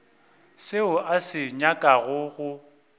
seo a se nyakago go